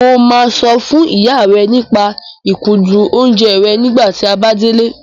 Mo máa sọ fún ìyá rẹ nípa ìkúndùn oúnjẹ rẹ nígbà tí a bá délé.